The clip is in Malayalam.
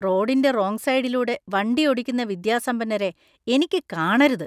റോഡിന്‍റെ റോംഗ് സൈഡിലൂടെ വണ്ടി ഓടിക്കുന്ന വിദ്യാസമ്പന്നരെ എനിക്ക് കാണരുത്.